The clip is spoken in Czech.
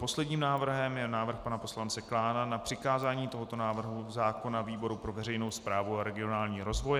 Posledním návrhem je návrh pana poslance Klána na přikázání tohoto návrhu zákona výboru pro veřejnou správu a regionální rozvoj.